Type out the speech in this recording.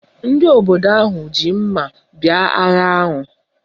Ndị obodo ahụ ji mma bịa agha ahụ